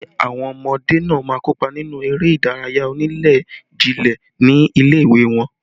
Ṣé àwọn ọmọdé náà má kópa nínú eré ìdárayá onílé-jilé ní ilé ìwé wọn